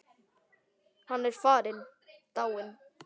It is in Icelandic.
Hann er farinn, dáinn.